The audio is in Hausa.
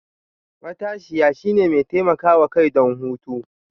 matashiya, shine mai taimakawa kai don hutu.